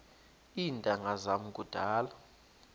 iintanga zam kudala